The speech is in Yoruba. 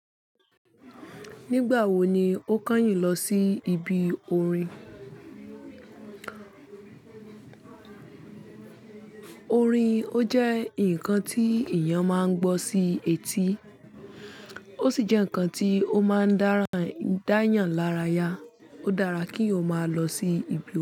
Nígbà wo ni o kányìn lọ sí ibi orin? Orin ó jẹ́ ǹkan tí èyàn máa ń gbọ́ sí etí, ó sì jẹ́ ǹkan tí ó máa ń dára, dáyàn lára ya. Ó dára kí eeyan máa lọ sí ibi orin.